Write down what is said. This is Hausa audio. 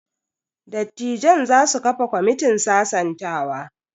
Dattijan za su kafa kwamitin sasantawa.